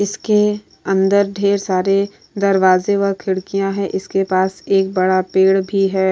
इसके अंदर ढेर सारे दरवाजे व खिड़कियाँ है इसके पास एक बड़ा पेड़ भी है।